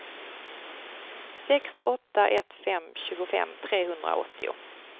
sex åtta ett fem tjugofem trehundraåttio